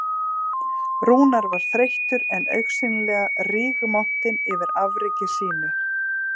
Rúnar var þreyttur en augsýnilega rígmontinn yfir afreki sínu